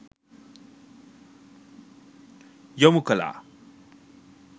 යොමු කළා.